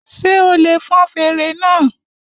Ṣé o lè fọn fèrè náà?